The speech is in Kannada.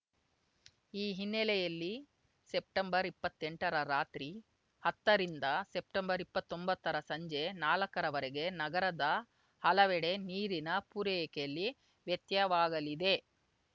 ಈ ಹಿನ್ನೆಲೆಯಲ್ಲಿ ಸೆಪ್ಟೆಂಬರ್ಇಪ್ಪತ್ತೆಂಟರ ರಾತ್ರಿ ಹತ್ತರಿಂದ ಸೆಪ್ಟೆಂಬರ್ಇಪ್ಪತ್ತೊಂಬತ್ತರ ಸಂಜೆ ನಾಲಕ್ಕರ ವರೆಗೆ ನಗರದ ಹಲವೆಡೆ ನೀರಿನ ಪೂರೈಕೆಯಲ್ಲಿ ವ್ಯತ್ಯವಾಗಲಿದೆ